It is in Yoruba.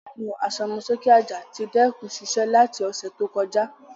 Fanu asomoke aja ti dẹkun siṣẹ lati ọsẹ to kọja.